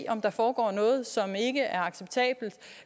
om der foregår noget som ikke er acceptabelt